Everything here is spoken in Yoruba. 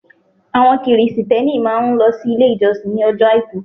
Àwọn Kristẹni máa n lọ sí Ilé ìjọsìn ní ojọ́ Àìkú